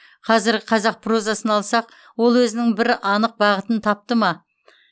қазіргі қазақ прозасын алсақ ол өзінің бір анық бағытын тапты ма